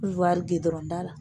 Kɔriwari gudɔrɔnda la.